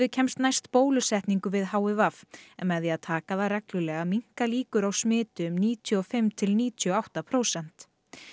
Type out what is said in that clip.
kemst næst bólusetningu við h i v en með því að taka það reglulega minnka líkur á smiti um níutíu og fimm til níutíu og átta prósent